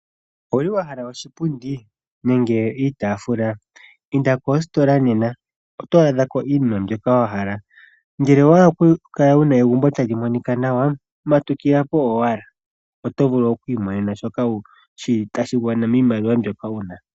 Owa hala oshipundi nenge iitafula inda positola nena oto adhako iinima mbyoka wahala. Ngele owa hala oku kala wuna egumbo tali monika nawa matukilapo owala oto vulu okumonapo shoka tashi gwana miimaliwa mbyoka wuna.